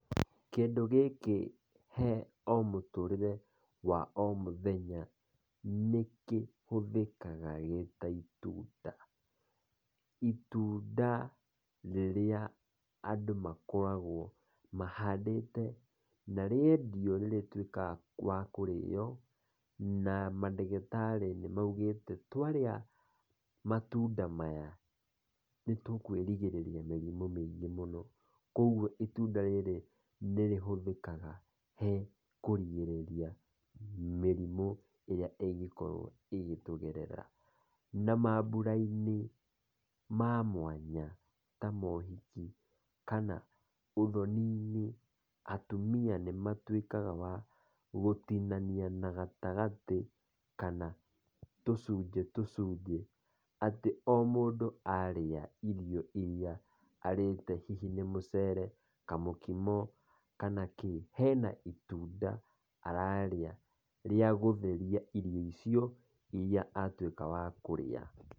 Kĩndũ gĩkĩ harĩ o mũturĩre wa o mũthenya, nĩkĩhũthĩkaga gĩta itunda, itunda rĩrĩa andũ makoragwo mahandĩte na rĩendio nĩ rĩtwĩkaga rĩa kũrĩo, na mandagĩtarĩ nĩ maugĩte twarĩa matunda maya, nĩtũkwĩrigĩrĩria mĩrimũ mĩingĩ mũno, kũgwo rĩrĩ nĩrĩhũthĩkaga he kũrigĩrĩria, mĩrimũ ĩrĩa ĩngĩkorwo ĩgĩtũgerera, na maambura-inĩ ma mwanya ta mohiki kana ũthoni-inĩ, atumia nĩmatwĩkaga agũtinania na gatagatĩ kana tũcunje, tũcunje, atĩ mũndũ arĩa irio iria arĩte hihi nĩ mũcere kamũkimo, kana kĩ, hena itunda ararĩa rĩa gũtheria irio icio iria atwĩka wa kũrĩa.